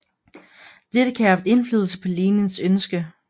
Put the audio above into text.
Dette kan have haft indflydelse på Lenins ønske